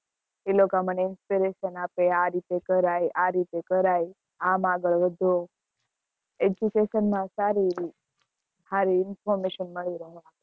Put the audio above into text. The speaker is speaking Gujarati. એ લોકો મને inspirational આપે આ રીતે કર્યે આ રીતે કરાયે આમ આગળ વધો education માં સારી આવી એવી information મળી રે